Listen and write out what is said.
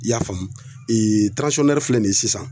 I y'a faamu filɛ nin ye sisan